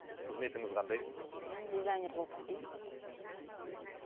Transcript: қызметіңіз қандай мен дизайнер болып істеймін мхм